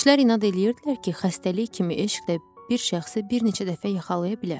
Kişilər inad eləyirdilər ki, xəstəlik kimi eşq də bir şəxsi bir neçə dəfə yaxalaya bilər.